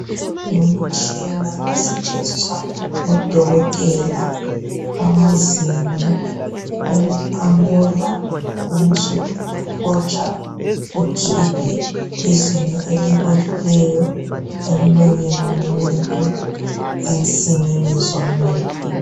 Ngumtshina osetshenziswa ngodokotela bamazinyo ukuqamula ubusuhotsha ukhiphe izinyo elibolileyo emlonyeni womuntu ensinini zomuntu.